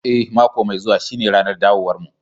Eh, mako mai zuwa shine ranar dawowarmu